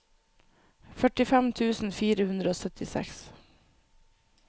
førtifem tusen fire hundre og syttiseks